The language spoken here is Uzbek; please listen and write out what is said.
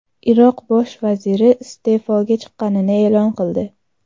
Iroq bosh vaziri iste’foga chiqqanini e’lon qildi.